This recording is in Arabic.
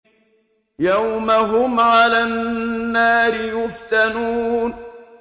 يَوْمَ هُمْ عَلَى النَّارِ يُفْتَنُونَ